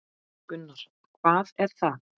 Gunnar: Hvað er það?